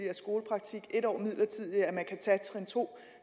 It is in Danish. af skolepraktik en års midlertidig forlængelse af at man kan tage trin to